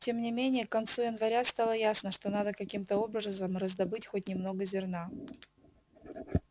тем не менее к концу января стало ясно что надо каким-то образом раздобыть хоть немного зерна